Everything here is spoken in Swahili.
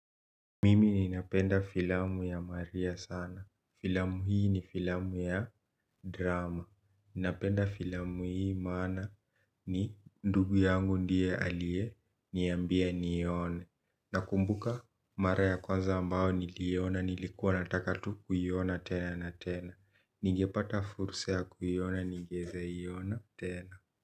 Mimi ninapenda filamu ya maria sana. Filamu hii ni filamu ya drama. Ninapenda filamu hii maana ni ndugu yangu ndiye alie niambia nione. Na kumbuka mara ya kwanza ambao niliona nilikuwa nataka tu kuyiona tena na tena. Nige pata fursa ya kuyiona nigeze iona tena.